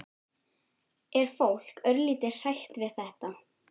Er fólk örlítið hrætt við þetta?